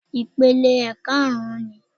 Ìpele karùn-ún ni